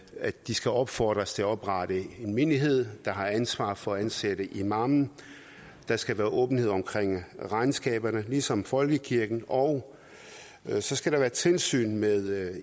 at de skal opfordres til at oprette en menighed der har ansvar for at ansætte imamen der skal være åbenhed omkring regnskaberne ligesom folkekirken og så skal der være tilsyn med